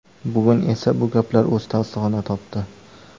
Bugun esa bu gaplar o‘z tasdig‘ini topdi.